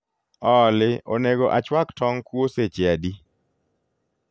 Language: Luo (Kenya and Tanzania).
olly onego achwak tong kuo seche adi